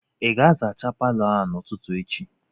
Ị ga-azacha Palọ a n'ụtụtụ echi?